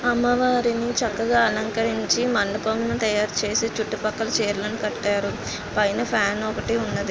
అమ్మవారిని చక్కగా అలంకరించి మండపం తాయారు చేసి చుట్టుపక్కల చీరలను కట్టారు పైన ఫ్యాన్ ఒకటి ఉన్నదీ.